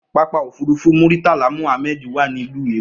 Pápákọ̀ òfúrufú Muritala Mohammed wà ní ìlú Èkó.